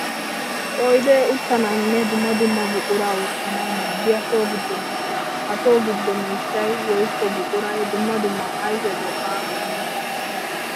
Oydee uttanawunne dumma dumma buqura wottanawu maadiya so gido miishsha. Ha so giddo miishshay woykko buquray dumma dumma ayfe go'aa immees.